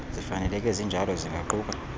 zifaneleke zinjalo zingaquka